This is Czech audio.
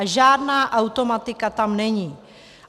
A žádná automatika tam není.